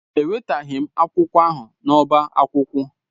Ewetaghị m akwụkwọ ahụ n'ọbá akwụkwọ.